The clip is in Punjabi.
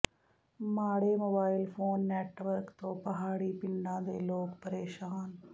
ਮਾੜੇ ਮੋਬਾਈਲ ਫੋਨ ਨੈੱਟਵਰਕ ਤੋਂ ਪਹਾੜੀ ਪਿੰਡਾਂ ਦੇ ਲੋਕ ਪ੍ਰੇਸ਼ਾਨ